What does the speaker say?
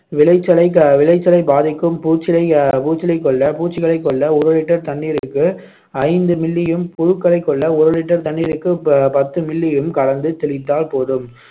விளைச்சலை அஹ் விளைச்சலைப் பாதிக்கும் பூச்சிலை கொல்ல பூச்சிகளைக் கொல்ல ஒரு litre தண்ணீருக்கு ஐந்து milli யும், புழுக்களைக் கொல்ல ஒரு litre தண்ணீருக்கு பத்து milli யும் கலந்து தெளித்தால் போதும்